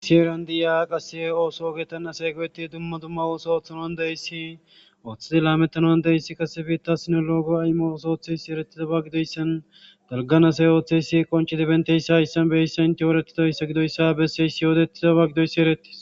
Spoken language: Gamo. assi eran di7a qase ooso ogeetan asee go7eti dumma dumma ooso ooththanoan deyssi ooththidi laamettanuan deyssi qasebiitta sinologo aymooso ooththeysi erettizaba gidoyssan galganasay ooththeysi qonchidi benteyssa issanbeysa intiyoretidoyssa gidoyssa besseys yoodettizaba gidoyssi erettis